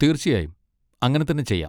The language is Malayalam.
തീർച്ചയായും അങ്ങനെ തന്നെ ചെയ്യാം.